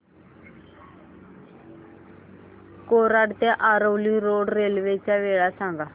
कोलाड ते Aravali road railway च्या वेळा सांग